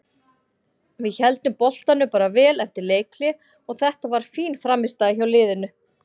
Við héldum boltanum bara vel eftir leikhlé og þetta var fín frammistaða hjá liðinu.